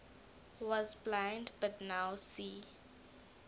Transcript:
was blind but now see